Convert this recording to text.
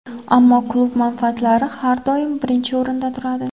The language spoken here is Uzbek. Ammo klub manfaatlari har doim birinchi o‘rinda turadi.